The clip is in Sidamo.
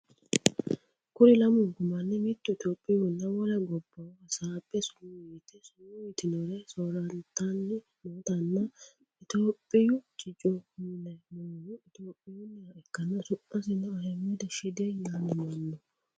Kuri lamunku manni mittu itiyopiyunna wole gobbahu hasabbe sumu yite sumu yitinnore soorrantanni nootanna itiyopiyu cicco mule noohu itiyopiyunniha ikkana su'misino ahimed shide yaamamanno.